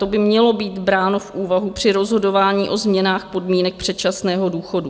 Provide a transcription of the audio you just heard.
To by mělo být bráno v úvahu při rozhodování o změnách podmínek předčasného důchodu.